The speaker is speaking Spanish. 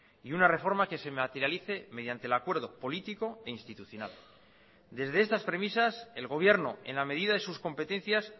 y una reforma que se materialice mediante el acuerdo político e institucional desde estas premisas el gobierno en la medida de sus competencias